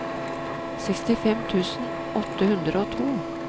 sekstifem tusen åtte hundre og to